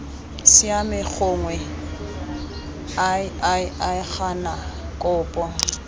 siame gongwe iii gana kopo